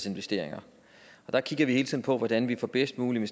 investeringer og der kigger vi hele tiden på hvordan vi får bedst mulige